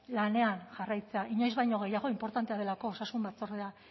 lanean jarraitzea inoiz baino gehiago inportantea delako osasun batzordea